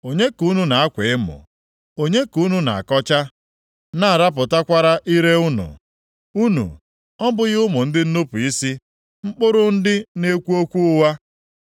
Onye ka unu na-akwa emo? Onye ka unu na-akọcha, na-arapụtakwara ire unu? Unu ọ bụghị ụmụ ndị nnupu isi, mkpụrụ ndị na-ekwu okwu ụgha?